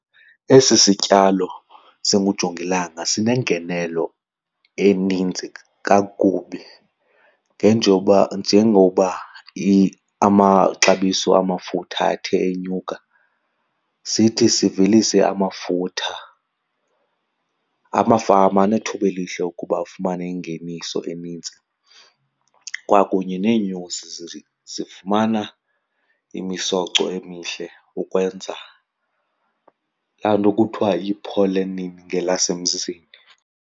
Esi sityalo singujongilanga sinengenelo eninzi kakubi. Njengoba amaxabiso amafutha athe enyuka, sithi sivelise amafutha. Amafama anethuba elihle ukuba afumane ingeniso enintsi kwakunye neenyosi zifumana imisoco emihle ukwenza laa nto kuthiwa yi-pollenin ngelasemzini.